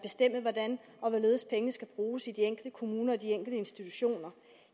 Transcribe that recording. hvordan og hvorledes pengene skal bruges i de enkelte kommuner i de enkelte institutioner